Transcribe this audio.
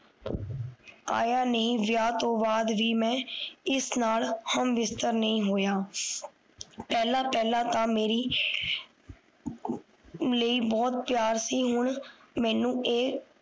ਆਯਾ ਨਹੀਂ ਗਿਆ ਵਿਆਹ ਤੋਂ ਬਾਅਦ ਬੀ ਮਈ ਹਮ ਬਿਸਤਰ ਨਹੀਂ ਹੋਇਆ ਪਹਲਾ ਪੈਹਲਾ ਤਾਂ ਮੇਰੀ ਲਈ ਬਹੁਤ ਪਿਆਰ ਸੀ ਹੁਣ ਮਿਣੋ ਏ